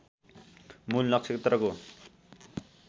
मूल नक्षत्रको